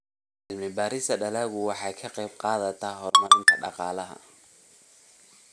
Cilmi-baarista dalaggu waxay ka qaybqaadataa horumarinta dhaqaalaha.